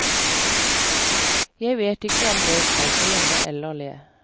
Jeg vet ikke om jeg skal grine eller le.